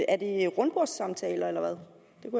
er det rundbordssamtaler eller hvad